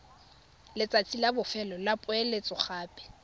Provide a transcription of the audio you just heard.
letsatsi la bofelo la poeletsogape